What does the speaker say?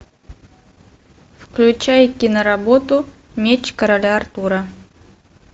включай киноработу меч короля артура